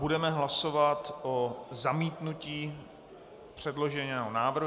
Budeme hlasovat o zamítnutí předloženého návrhu.